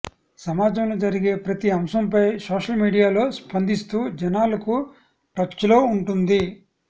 సమాజంలో జరిగే ప్రతి అంశంపై సోషల్ మీడియాలో స్పందిస్తూ జనాలకు టచ్లో ఉంటుంది